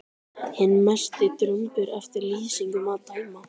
Hinn mesti drumbur eftir lýsingum að dæma.